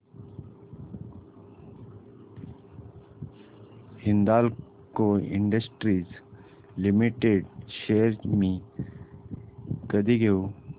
Hindalco industries limited shares मी कधी घेऊ